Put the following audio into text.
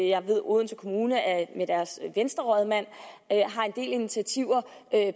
jeg ved at odense kommune med deres venstrerådmand har en del initiativer